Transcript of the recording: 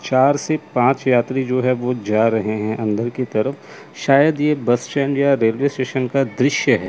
चार से पांच यात्री जो है वो जा रहे हैं अंदर की तरफ शायद ये बस स्टैंड या रेलवे स्टेशन का दृश्य है।